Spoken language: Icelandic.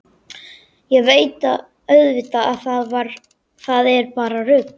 Ég veit auðvitað að það er bara rugl.